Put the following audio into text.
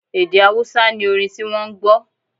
Èdè Awúsá ni orin ti wọ́ n gbọ́